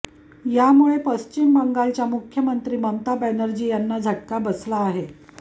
यामुळे पश्चिम बंगालच्या मुख्यमंत्री ममता बॅनर्जी यांना झटका बसला आहे